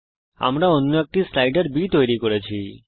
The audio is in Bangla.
আমরা অন্য আরেকটি স্লাইডার b তৈরী করছি